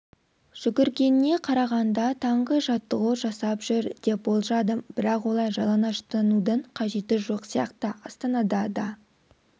жүгіргеніне қарағанда таңғы жаттығу жасап жүр деп болжадым бірақ олай жалаңаштудың қажеті жоқ сияқты астанада да